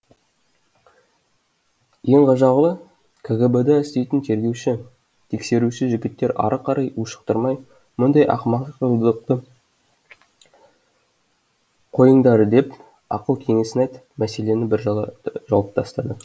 ең ғажабы кгб да істейтін тергеуші тексеруші жігіттер ары қарай ушықтырмай мұндай ақымақшылдықты қойыңдар деп ақыл кеңесін айтып мәселені біржола жауып тастайды